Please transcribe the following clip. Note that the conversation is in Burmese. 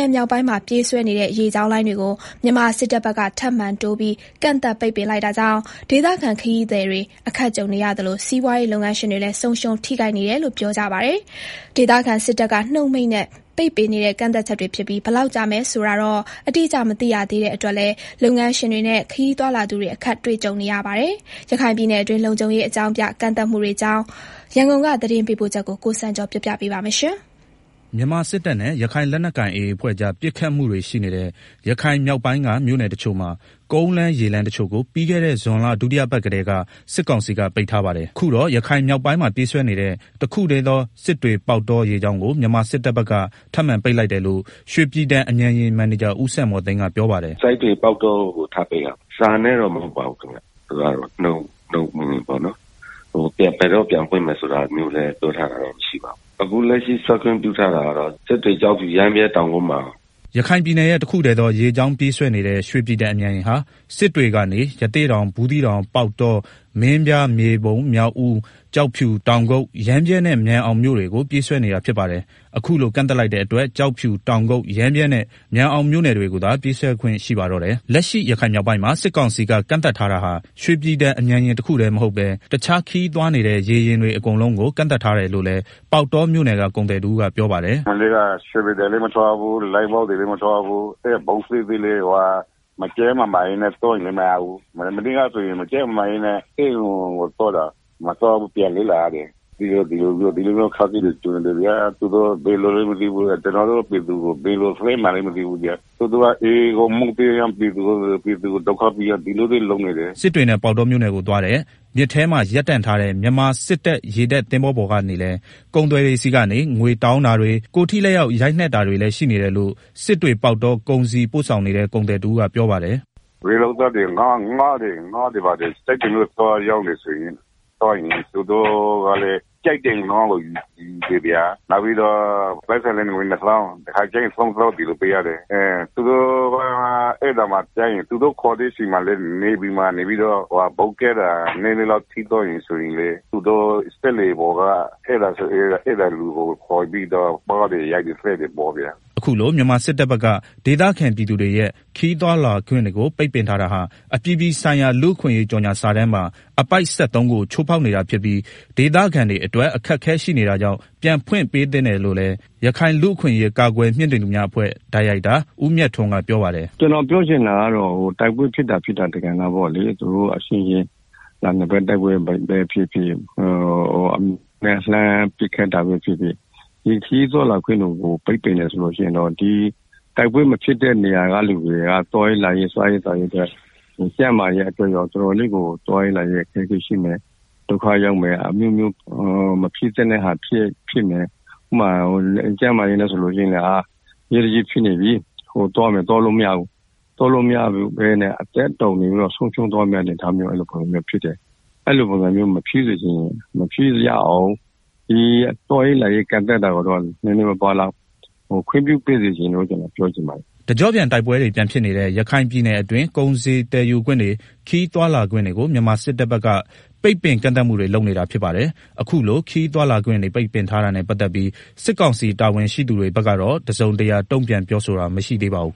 င်မြောက်ပိုင်းမှာ ပြေးဆွဲနေတဲ့ ရေကြောင်းလိုင်းတွေ ပိတ်ပင်ကန့်သတ်မှုကို မြန်မာစစ်တပ်ဘက်က ထပ်တိုးလိုက်တာကြောင့် ဒေသခံခရီးသည်တွေ အခက်ကြုံနေရသလို စီးပွားရေးလုပ်ငန်းရှင်တွေလည်း ဆုံးရှုံးထိခိုက်နေတယ်လို့ ပြောကြပါတယ်။ ဒေသခံစစ်တပ်က နှုတ်မိန့်နဲ့ ပိတ်ပင်နေတဲ့ ကန့်သတ်ချက်တွေဖြစ်ပြီး ဘယ်လောက်ကြာမယ်ဆိုတာ အတိအကျမသိရတဲ့အတွက်လည်း လုပ်ငန်းရှင်တွေနဲ့ ခရီးသွားလာသူတွေ အခက်တွေ့နေပါတယ်။ ရခိုင်ပြည်နယ်အတွင်း လုံခြုံရေးအကြောင်းပြ ကန့်သတ်မှုတွေအကြောင်း သတင်းပေးပို့ချက်ကို ကိုစံကျော် တင်ပြပေးထားပါတယ်။ မြန်မာစစ်တပ်နဲ့ ရခိုင်လက်နက်ကိုင် AA အဖွဲ့ကြား ပစ်ခတ်မှုတွေရှိနေတဲ့ ရခိုင်မြောက်ပိုင်းက မြို့ နယ်တချို့မှာ ကုန်းလမ်း ရေလမ်းတချို့ကို ပြီးခဲ့တဲ့ ဇွန်လ ဒုတိယအပတ်ကတည်း စစ်ကောင်စီက ပိတ်ထားပါတယ်။ အခုတော့ ရခိုင်မြောက်ပိုင်းမှာ ပြေးဆွဲနေတဲ့ တခုတည်းသော စစ်တွေ ပေါက်တော ရေကြောင်းကို မြန်မာစစ်တပ်ဘက်က ထပ်မံ ပိတ်လိုက်တယ်လို့ ရွှေပြည်တန် မြန်ယာဉ် မန်နေဂျာ ဦးစံမော်သိန်းကပြောပါတယ်။ “ အခုထပ်ပိတ်တာကတော့ စစ်တွေ-ပေါက်တောကို ထပ်ပိတ်တာပါ။ စာနဲ့ ပိတ်တာတော့ မဟုတ်ဘူး။ နှုတ်နဲ့ ပိတ်တာပေါ့နော်၊ ဘယ်နေ့ပြန်ဖွင့်မယ်ဆိုတာလည်းမပြောဘူး။ အခု ဆွဲခွင့်ပြုထားတာကတော့ စစ်တွေ- ကျောက်ဖြူ- ရမ်းဗြဲ- တောင်ကုတ်- မာန်အောင် ပေါ့နော်။” ရခိုင်ပြည်နယ်ရဲ့တခုတည်းသော ရေကြောင်းပြေးဆွဲနေတဲ့ရွှေပြည်တန်အမြန်ယာဉ်ဟာ စစ်တွေကနေ ရသေ့တောင်၊ ဘူးသီးတောင်၊ ပေါက်တော၊ မင်းပြား၊ မြေပုံ၊ မြောက်ဦး၊ ကျောက်ဖြူ၊ တောင်ကုတ်၊ ရမ်းဗြဲနဲ့ မာန်အောင်မြို့နယ်တွေကို ပြေးဆွဲနေတာဖြစ်ပါတယ်။ အခုလို ကန့်သတ်လိုက်တဲ့အတွက် ကျောက်ဖြူ၊ တောင်ကုတ်၊ ရမ်းဗြဲနဲ့ မာန်အောင်မြို့နယ်တွေကိုသာ ပြေးဆွဲခွင့်ရှိပါတော့တယ်။ လက်ရှိ ရခိုင်မြောက်ပိုင်းမှာ စစ်ကောင်စီက ကန့်သတ်ထားတာဟာ ရွှေပြည်တန်အမြန်ယာဉ်တခုတည်းမဟုတ်ပဲ တခြားခရီးသွားနေတဲ့ ရေယာဉ်တွေအကုန်လုံးကို ကန့်သတ်ထားတယ်လို့လည်း ပေါက်တောမြို့နယ်က ကုန်သည်တဦးကပြောပါတယ်။ “ မနေ့က စလို့ ရွေပြည်တန်လည်းမထွက်ရဘူး။ လိုင်းဘုတ်တွေလည်း မထွက်ရဘူး။ ဘုတ်သေးသေးလေးတွေလည်းမထွက်ရဘူး။ ကျန်းမာရေးအတွက်တောင်မထွက်ရဘူး။ မနေ့ကဆိုရင် အရေးပေါ်ဖြစ်လို့ ဆေးရုံကိုသွားတာ မသွားရလို့ ပြန်လှည့်လာရတယ်၊ ဒီလိုမျိုးအခက်အခဲတွေ ကြုံရတယ်ဗျာ၊ သူတို့ကဘယ်လိုလဲမသိဘူး AAကို မကြေနပ်တာနဲ့ ပြည်သူတွေကိုပဲ ဒုက္ခပေးနေတာ။” စစ်တွေနဲ့ ပေါက်တောမြို့နယ်ကို သွားတဲ့ မြစ်ထဲမှာ ရပ်တန့်ထားတဲ့ မြန်မာစစ်တပ် ရေတပ်သင်္ဘောပေါ်ကနေလည်း ကုန်သည်တွေဆီကနေ ငွေတောင်းတာတွေ ကိုယ်ထိလက်ရောက် ရိုက်နှက်တာတွေလည်း ရှိနေတယ်လို့ စစ်တွေ ပေါက်တော ကုန်စည်ပို့ဆောင်နေတဲ့ ကုန်သည် တဦးကပြောပါတယ်။ “ ရေလုပ်သားတွေ ငါးတွေ ဘာတွေ စစ်တွေကိုသွားရောင်းလို့ရှိရင် သူတို့က ငါးတွေကို စိတ်ကြိုက်ယူတယ်ဗျာ ပြီးတော့ ပိုက်ဆံလည်း ငွေနှစ်သောင်း တခါတလေ ၃ သောင်းပေး ရတယ်။ သူတို့ခေါ်တဲ့အချိန် နေဗီမှာ ဘုတ်ကပ်တာ နည်းနည်းလောက် ထိသွားရင် စက်လှေပေါ်ကလူကိုခေါ်ပြီးတော့ ပါးရိုက်တယ်၊ သတ်တယ်။” အခုလို မြန်မာစစ်တပ်ဘက်က ဒေသခံပြည်သူတွေရဲ့ ခရီးသွားလာခွင့်တွေကို ပိတ်ပင်ထားတာဟာ အပြည်ပြည် ဆိုင်ရာ လူ့အခွင့်ရေးကြေငြာစာတမ်းပါ အပိုဒ် ၁၃ကို ချိုးဖောက်နေတာဖြစ်ပြီး ဒေသခံတွေအတွက် အခက်အခဲရှိနေတာကြောင့် ပြန်ဖွင့်ပေးသင့်တယ်လို့လည်း ရခိုင်လူ့ အခွင့်အရေး ကာကွယ်မြှင့်တင်သူများအဖွဲ့ ဒါရိုက်တာ ဦးမြတ်ထွန်းကပြောပါတယ်။ “ပြောချင်တာကတော့ တိုက်ပွဲဖြစ်တာ ဖြစ်တာတပိုင်းပေါ့နော်။ သူတို့အချင်းချင်း နှစ်ဘက်တိုက်ပွဲ ဖြစ်ဖြစ်၊ လှမ်းနေတာပဲဖြစ်ဖြစ် ခရီးသွားလာခွင့်တွေကို ပိတ်ပင်တယ်ဆိုတော့ ဒီတိုက်ပွဲမဖြစ်တဲ့နေရာကလူတွေက စားရေးသောက်ရေး၊ သွားရေးလာရေး၊ ကျန်းမာရေးအတွက်ကော အခက်အခဲရှိမယ်။ ဒုက္ခရောက်မယ်။ မဖြစ်သင့်တဲ့ဟာတွေ ဖြစ်မယ်၊ ကျန်း မာရေးနဲ့ဆိုရင်လည်း အရေးတကြီးဖြစ်နေပြီးသွားမယ်ဆိုရင် သွားလို့မရဘူး။ အသက်တောင် ဆုံးရှုံးသွားမယ့်စစ် အနေအထားဖြစ်မယ်။ အဲလိုတွေမဖြစ်ရအောင် သွားရေးလာရေးတွေကို ခွင့်ပြုသင့်တယ်။” တကြော့ပြန်တိုက်ပွဲတွေ ပြန်ဖြစ်နေတဲ့ ရခိုင်ပြည်နယ်အတွင်း ကုန်စည်သယ်ယူခွင့်တွေ၊ ခရီးသွားလာခွင့်တွေကို မြန်မာစစ်တပ်ဘက်က ပိတ်ပင်ကန့်သတ်နေတာဖြစ်ပါတယ်။ အခုလို ခရီးသွားလာခွင့်ပိတ်ထားတာတွေနဲ့ ပတ်သက်ပြီး စစ်ကောင်စီတာဝန်ရှိသူတွေဘက်ကတော့ တစုံတရာ တုံ့ပြန်ပြောဆိုတာ မရှိသေးပါဘူး